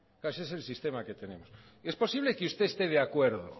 claro ese es el sistema que tenemos es posible que usted esté de acuerdo